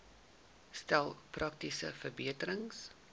stel praktiese verbeterings